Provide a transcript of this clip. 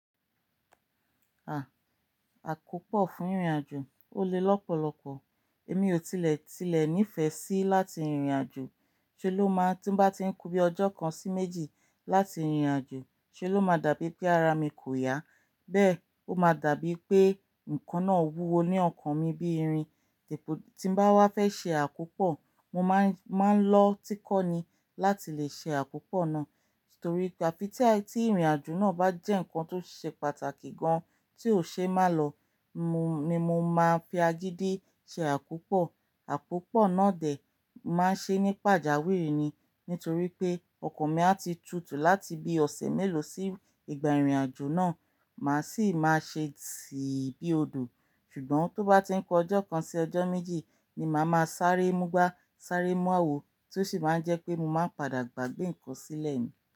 À, àkópò fún ìrìnàjò ó le lọ́pọ̀lọ́pọ̀. Èmi ò tilẹ̀ tilẹ̀ nífẹ̀ẹ́ sí láti ìrìnàjò. Ṣe ló máa ń tí bá ti ń ku bí ọjọ́ kan sí méjì láti rìrìnàjò, ṣe ló máa dàbí pé ara mi kò yá. Bẹ́ẹ̀ ó máa dàbí pé nǹkan náà wúwo ní ọkàn mi bí irin. Tí mo bá wá fẹ́ ṣe àkópò, mo máa ń lọ tí kọ́ni láti lè ṣe àkópò náà. Torí pé àfi tí ìrìnàjò náà bá jẹ́ ǹkan tó ṣe pàtàkì gan tí ò ṣe má lọ, mo ni mo máa ń fi agídi ṣe àkópò. Àkópò náà dẹ̀ máa ń ṣe ní pàjáwìrì ni, nítorí pé ọkàn mi a ti tutù láti bí ọ̀sẹ̀ mélòó sí ìgbà ìrìnàjò náà, màá sì máa ṣe siì bí odò. Ṣùgbọ́n tó bá ti ń kọ ọjọ́ kan sí ọjọ́ méjì ni màá máa sáré múgbàá, sáré mú áwò, tí ó sì máa ń jẹ́ pé mo máa ń padà gbàgbé ǹkan sílẹ̀ ní.